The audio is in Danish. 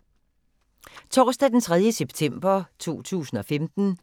Torsdag d. 3. september 2015